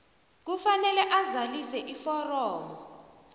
kufanele azalise iforomo